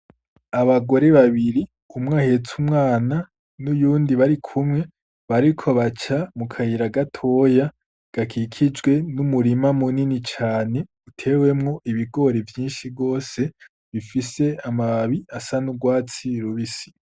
Abagore babiri, umwe ahetse umwana n'uyundi barikumwe, bariko baca mu kayira gatoya gakikijwe n'umurima munini cane utewemwo ibigori vyinshi gose, bifise amababi asa n'urwatsi rubisi.